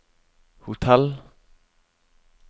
hotell